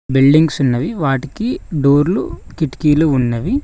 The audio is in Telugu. బిల్డింగ్స్ ఉన్నవి వాటికి డోర్లు కిటికీలు ఉన్నవి.